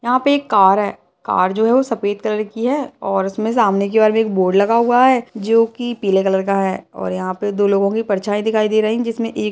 यहाँ पे एक कार है कार जो है वो सफ़ेद कलर की है और उसमे सामने की ओर भी एक बोर्ड लगा हुआ है जो की पीले कलर का है और यहाँ पे दो लोगों की परछाई दिखाई दे रही है जिसमें एक --